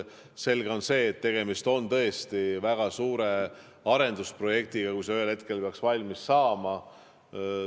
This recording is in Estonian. Selge on see, et tegemist on tõesti väga suure arendusprojektiga, kui see ühel hetkel peaks valmis saama.